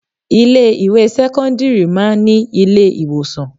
Ilé ìwé sẹ́kọ́ńdírì máa ń ní ilé ìwòsàn.